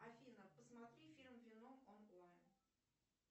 афина посмотри фильм веном онлайн